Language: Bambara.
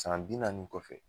San bi naani kɔfɛ.